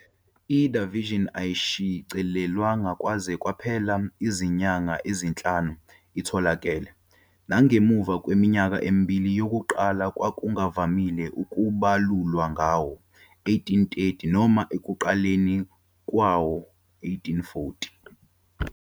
I-"The Vision" ayishicilelwanga kwaze kwaphela izinyanga ezinhlanu itholakele, nangemva kweminyaka emibili yokuqala kwakungavamile ukubalulwa ngawo-1830 noma ekuqaleni kwawo-1840.